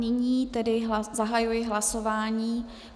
Nyní tedy zahajuji hlasování.